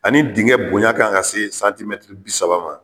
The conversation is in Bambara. Ani denkɛ bonya kan ka se santimɛtiri bi saba ma